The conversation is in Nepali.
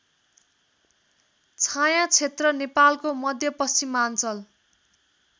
छायाक्षेत्र नेपालको मध्यपश्चिमाञ्चल